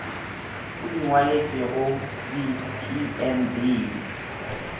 o di ngwaletšwego di pmb